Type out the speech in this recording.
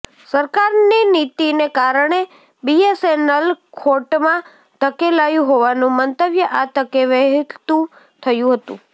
સરકારની નીતિને કારણે બીએસએનએલ ખોટમાં ધકેલાયું હોવાનું મંતવ્ય આ તકે વહેતું થયું હતું